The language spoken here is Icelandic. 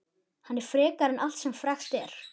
Hann er frekari en allt sem frekt er.